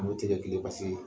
An b'o tigɛ tile basi ye.